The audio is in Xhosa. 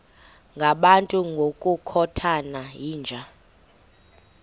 ngabantu ngokukhothana yinja